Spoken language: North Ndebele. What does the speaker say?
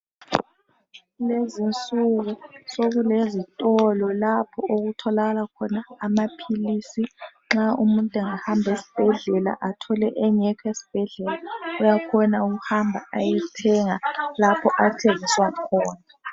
Kulezinsuku sokulezitolo lapho okutholakala khona amaphilisi. Nxa umuntu engahamba esibhedlela athole engekho esibhedlela, uyakhona ukuhamba ayethenga lapho athengiswa khona.